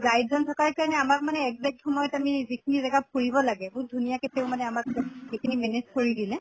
guide জন থকাৰ কাৰণে আমাক মানে exact সময়ত যিখিনি জাগা ফুৰিব লাগে ধুনীয়াকে তেওঁ মানে আমাক সেই খিনি manage কৰি দিলে